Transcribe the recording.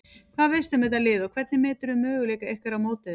Hvað veistu um þetta lið og hvernig meturðu möguleika ykkar á móti þeim?